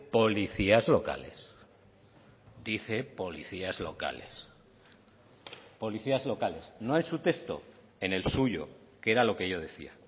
policías locales dice policías locales policías locales no es su texto en el suyo que era lo que yo decía